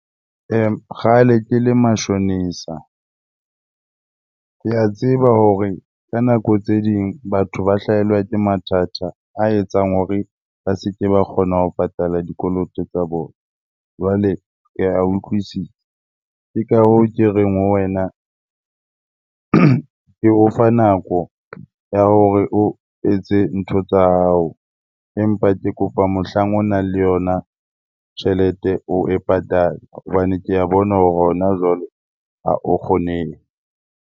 Ee, kgale ke le mashonisa. Ke a tseba hore ka nako tse ding batho ba hlahelwa ke mathata a etsang hore ba seke ba kgona ho patala dikoloto tsa bona, jwale ke a utlwisisa. Ke ka hoo ke reng ho wena, ke o fa nako ya hore o etse ntho tsa hao. Empa ke kopa mohlang o nang le yona tjhelete oe patale hobane ke a bona hore hona jwale ha o kgonehe.